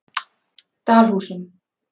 Dalhúsum